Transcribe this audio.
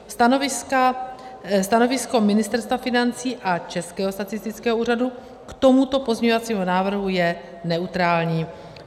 Stanovisko Ministerstva financí a Českého statistického úřadu k tomuto pozměňovacímu návrhu je neutrální.